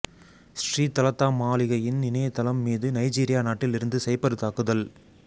ஸ்ரீ தலதா மாளிகையின் இணையத்தளம் மீது நைஜீரியா நாட்டில் இருந்து சைபர் தாக்குதல்